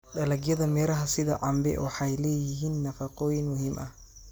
Dalagyada miraha sida cambe waxay leeyihiin nafaqooyin muhiim ah.